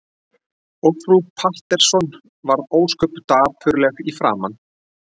Og frú Pettersson varð ósköp dapurleg í framan.